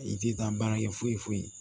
I tɛ taa baarakɛ foyi foyi